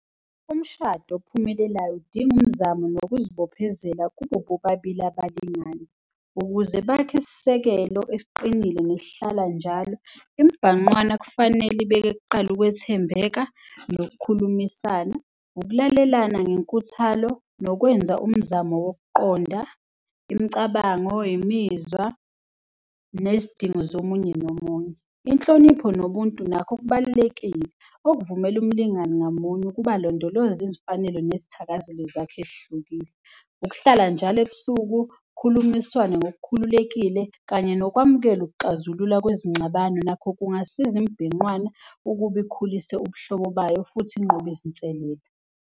Umshado ophumelelayo udinga umzamo nokuzibophezela kubo bobabili abalingani ukuze bakhe isisekelo esiqinile nesihlala njalo imibhanqwana kufanele ibeke kuqala ukwethembeka nokukhulumisana, ukulalelana ngenkuthalo nokwenza umzamo wokuqonda imicabango, imizwa nezidingo zomunye nomunye. Inhlonipho nobuntu nakho kubalulekile okuvumela umlingani ngamunye ukuba alondoloze izifanelo nezithakazelo zakhe ezihlukile. Ukuhlala njalo ebusuku kukhulumiswane ngokukhululekile kanye nokwamukela ukuxazulula kwezingxabano nakho kungasiza imibhinqwana ukube ikhulise ubuhlobo bayo futhi inqobe izinselelo.